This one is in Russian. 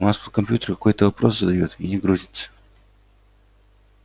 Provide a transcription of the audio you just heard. у нас тут компьютер какой-то вопрос задаёт и не грузится